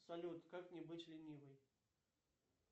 салют как не быть ленивой